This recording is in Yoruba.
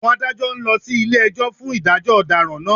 Àwọn Adájọ́ ń lọ sí ilé-ẹjọ́ fún ìdájọ́ ọ̀daràn náà